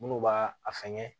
Minnu b'a a fɛngɛ